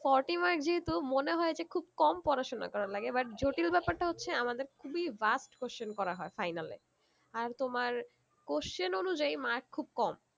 forty mark যেহুতু মনে হয়ে যে খুব কম পড়াশোনা করার লাগে but জটিল ব্যাপারটা হচ্ছে আমাদের খুবই vast question করা হয়ে final এ আর তোমার question অনুযায়ী mark খুব কম